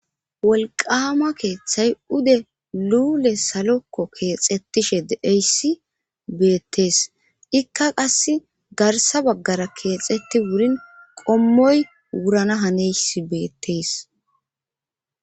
wolqama keeththay ude luule salokko keexettishe deeyssi beettees ikka qass garsa baggara keexetti wurin qommoy wurana haneys beettees